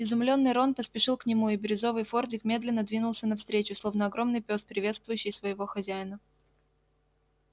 изумлённый рон поспешил к нему и бирюзовый фордик медленно двинулся навстречу словно огромный пёс приветствующий своего хозяина